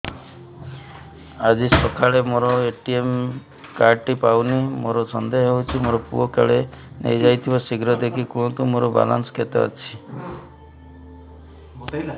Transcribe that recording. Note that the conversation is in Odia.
ଆଜି ସକାଳେ ମୋର ଏ.ଟି.ଏମ୍ କାର୍ଡ ଟି ପାଉନି ମୋର ସନ୍ଦେହ ହଉଚି ମୋ ପୁଅ କାଳେ ନେଇଯାଇଥିବ ଶୀଘ୍ର ଦେଖି କୁହନ୍ତୁ ମୋର ବାଲାନ୍ସ କେତେ ଅଛି